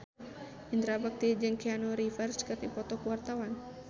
Indra Bekti jeung Keanu Reeves keur dipoto ku wartawan